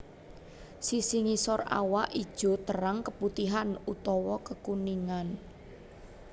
Sisi ngisor awak ijo terang keputihan utawa kekuningan